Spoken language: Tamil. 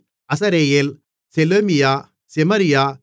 அசரெயேல் செலேமியா செமரியா